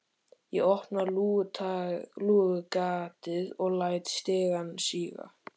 Ég opna lúgugatið og læt stigann síga.